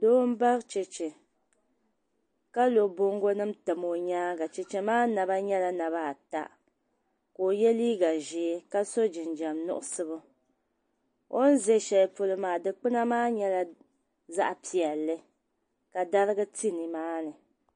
Doo mbari. cheche ka lo bɔŋgonim n tam o nyaaŋa. cheche maa naba nyala naba. ata kaoye liigazɛɛ. ka so jinjam nuɣisi ɣu o n zɛ. shɛli polo maa. dikpuna maa nyala zaɣi piɛli ka darigi nimaani.